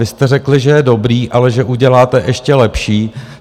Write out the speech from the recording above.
Vy jste řekli, že je dobrý, ale že uděláte ještě lepší.